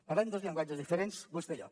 parlem dos llenguatges diferents vostè i jo